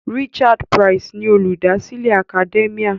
Richard Price ni Olùdásílẹ̀ Academia.